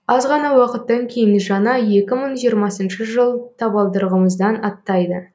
аз ғана уақыттан кейін жаңа екі мың жиырмасыншы жыл табалдырығымыздан аттайды